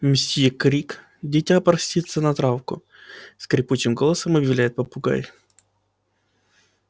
мсьё крик дитя просится на травку скрипучим голосом объявляет попугай